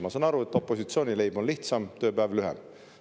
Ma saan aru, et opositsiooni leib on lihtsam, tööpäev lühem.